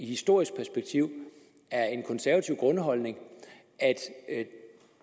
historisk perspektiv er en konservativ grundholdning at